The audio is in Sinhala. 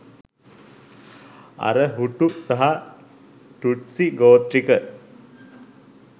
අර “හුටු” සහ “ටුට්සි” ගෝත්‍රික